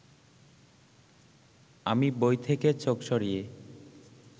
আমি বই থেকে চোখ সরিয়ে